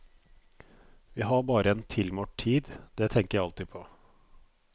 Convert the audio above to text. Vi har bare en tilmålt tid, det tenker jeg alltid på.